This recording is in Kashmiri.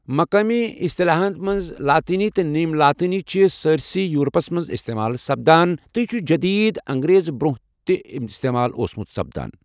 مقٲمی اِسطلاحاتن منز لاطینی تہٕ نیم لاطینی چھِ سٲرِسٕے یورپس منز استعمال سپدان تہٕ یہِ چُھ جدید انگریز برونہہ تہِ استعمال اوسمُت سپدان ۔